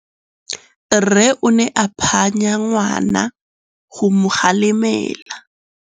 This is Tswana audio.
Rre o ne a phanya ngwana go mo galemela.